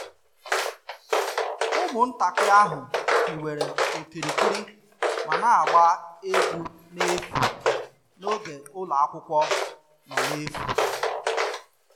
Ụmụntakịrị ahụ hiwere okirikiri ma na-agba egwu n'efu n'oge ụlọ akwụkwọ nọ n'efu